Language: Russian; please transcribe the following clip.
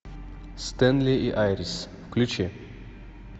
стэнли и айрис включи